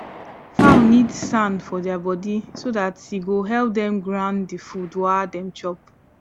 fowl need sand for their body so that e go help them grind the food wa them chop